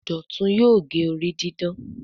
Dọtun yóò gé orí didán